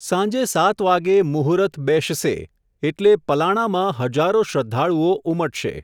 સાંજે સાત વાગે મુહુરત બેસશે, એટલે પલાણામાં હજારો શ્રઘ્ધાળુઓ ઉમટશે.